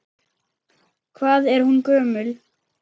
Hvað er hún gömul?